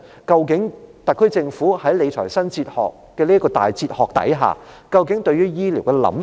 究竟特區政府在理財新哲學下，對於醫療究竟有何想法？